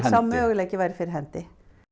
sá möguleiki væri fyrir hendi